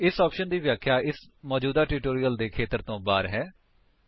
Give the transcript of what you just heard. ਇਸ ਆਪਸ਼ਨਸ ਦੀ ਵਿਆਖਿਆ ਇਸ ਮੌਜੂਦਾ ਟਿਊਟੋਰਿਅਲ ਦੇ ਖੇਤਰ ਤੋਂ ਬਾਹਰ ਹੈ